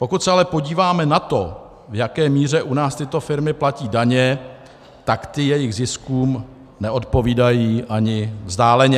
Pokud se ale podíváme na to, v jaké míře u nás tyto firmy platí daně, tak ty jejich ziskům neodpovídají ani vzdáleně.